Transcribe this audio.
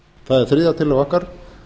það er þriðja tillaga okkar